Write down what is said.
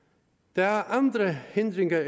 der er andre hindringer